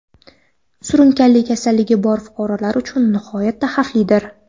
surunkali kasalligi bor fuqarolar uchun nihoyatda xavflidir.